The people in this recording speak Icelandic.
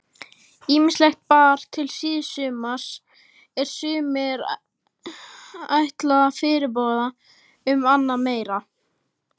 Ýmislegt bar til síðsumars er sumir ætla fyrirboða um annað meira.